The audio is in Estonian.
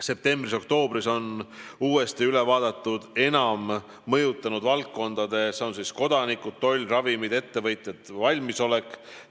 Septembris-oktoobris on uuesti üle vaadatud enam mõjutatavad valdkonnad: kodanikud, toll, ravimid, ettevõtjad, valmisolek.